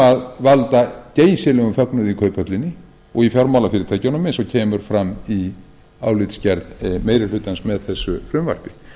sem valda geysilegum fögnuði í kauphöllinni og í fjármálafyrirtækjunum eins og kemur fram í álitsgerð meiri hlutans með þessu frumvarpi